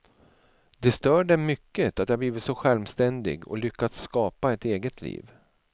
Det stör dem mycket att jag har blivit så självständig, och lyckats skapa ett eget liv.